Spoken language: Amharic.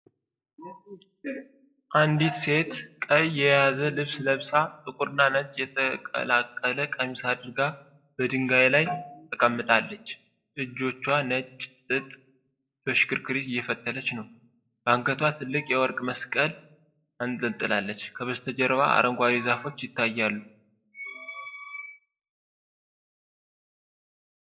አንዲት ሴት ሰማያዊና ቀይ የያዘ ልብስ ለብሳ፣ ጥቁርና ነጭ የተቀላቀለ ቀሚስ አድርጋ በድንጋይ ላይ ተቀምጣለች። በእጆቿ ነጭ ጥጥ በሽክርክሪት እየፈተለች ነው። በአንገቷ ትልቅ የወርቅ መስቀል አንጠልጥላለች። ከበስተጀርባ አረንጓዴ ዛፎች ይታያሉ።